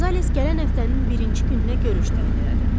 Qonzales gələn həftənin birinci gününə görüş təyin elədi.